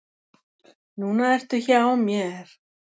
Núna ertu hjá mér.